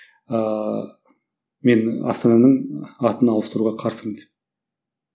ыыы мен астананың атын ауыстыруға қарсымын деп